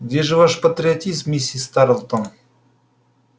где же ваш патриотизм миссис тарлтон